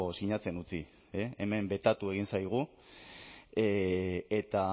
sinatzen utzi hemen betatu egin zaigu eta